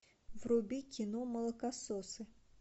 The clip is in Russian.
вруби кино молокососы